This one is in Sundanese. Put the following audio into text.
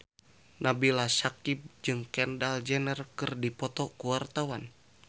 Nabila Syakieb jeung Kendall Jenner keur dipoto ku wartawan